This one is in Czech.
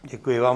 Děkuji vám.